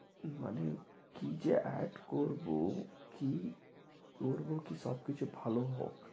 মানে কি যে add করবো কি করবো কি সবকিছু ভালো হোক